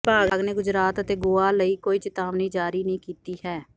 ਵਿਭਾਗ ਨੇ ਗੁਜਰਾਤ ਅਤੇ ਗੋਆ ਲਈ ਕੋਈ ਚਿਤਾਵਨੀ ਜਾਰੀ ਨਹੀਂ ਕੀਤੀ ਹੈ